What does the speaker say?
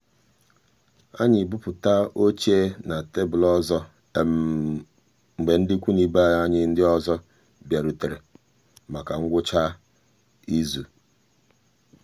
anyị bụpụta gasị oche na tebụl ọzọ mgbe ndị ikwu na ibe anyị ndị ọzọ bịarutere maka ngwụcha izu.